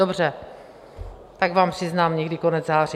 Dobře, tak vám přiznám někdy konec září.